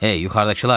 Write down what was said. Ey, yuxarıdakılar!